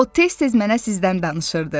O tez-tez mənə sizdən danışırdı.